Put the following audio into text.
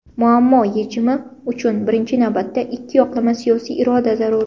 Muammo yechimi uchun birinchi navbatda ‘ikkiyoqlama’ siyosiy iroda zarur.